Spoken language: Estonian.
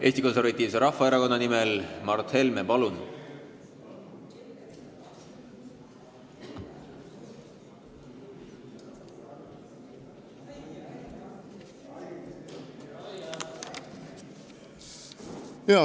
Eesti Konservatiivse Rahvaerakonna nimel Mart Helme, palun!